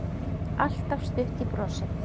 Alltaf stutt í brosið.